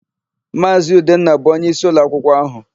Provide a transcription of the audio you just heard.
Maazị Udenna bụ onyeisi ụlọakwụkwọ áhụ̀.